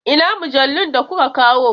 Ina mujallun da kuka kawo?